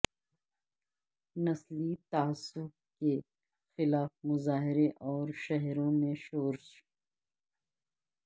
نسلی تعصب کے خلاف مظاہرے اور شہروں میں شورش